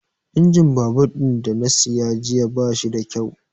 Injin babur ɗin da na siya jiya bashi da kyau